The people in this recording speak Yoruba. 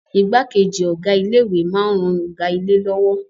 Igbákejì Ọ̀gá ilé ìwé máa ń ran Ọ̀gá ilé lọ́wọ́